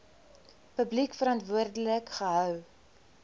publiek verantwoordelik gehou